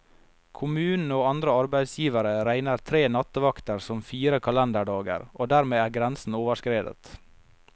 Kommunen og andre arbeidsgivere regner tre nattevakter som fire kalenderdager, og dermed er grensen overskredet.